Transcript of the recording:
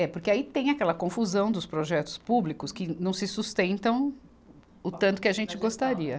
É, porque aí tem aquela confusão dos projetos públicos que não se sustentam o tanto que a gente gostaria.